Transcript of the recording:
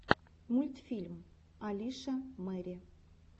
мультфильм алиша мэри